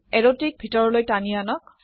এৰোটিক ভিতৰলৈ টানি আনক